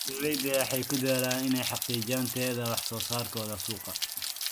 Beeraleydu waxay ku dadaalaan inay xaqiijiyaan tayada wax soo saarkooda suuqa.